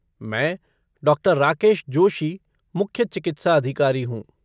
मैं डॉ. राकेश जोशी, मुख्य चिकित्सा अधिकारी हूँ।